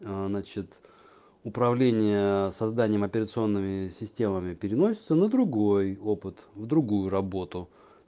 значит управление созданием операционными системами переносится на другой опыт в другую работу